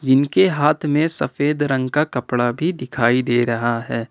इनके हाथ में सफेद रंग का कपड़ा भी दिखाई दे रहा है।